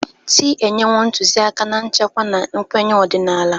Chị́ enyewo ntụzịaka na nchekwa na nkwenye ọdịnala.